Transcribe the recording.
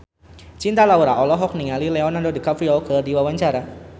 Cinta Laura olohok ningali Leonardo DiCaprio keur diwawancara